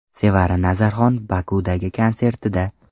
Sevara Nazarxon Bokudagi konsertida.